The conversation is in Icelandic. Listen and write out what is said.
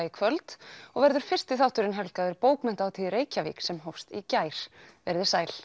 í kvöld og verður fyrsti þátturinn helgaður bókmenntahátíð í Reykjavík sem hófst í gær veriði sæl